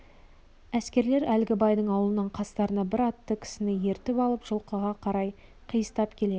әскерлер әлгі байдың аулынан қастарына бір атты кісіні ертіп алып жылқыға қарай қиыстап келеді